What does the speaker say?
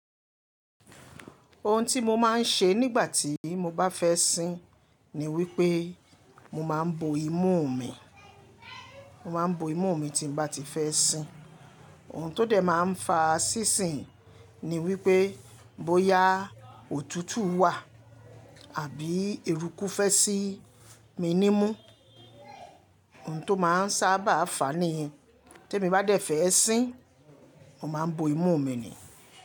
Ohun tí mo máa ń ṣe nígbà tí mo bá fẹ́ sín ni wípé mo máa ń bo imú mi, mo máa ń bo imú mi tí bá ti fẹ́ sín. Ohun tó dẹ̀ máa ń fa sísìn ni wípé bóyá òtútù wà àbí eruku fẹ́ sí mi ní mú. Ohun tó máa ń sábà fàá ni ye tèmi bá dẹ̀ fẹ́ sín, mo máa ń bo imú mi ni.